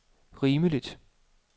rimeligt